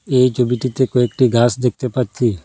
এই ছবিটিতে কয়েকটি গাস দেখতে পাচ্ছি।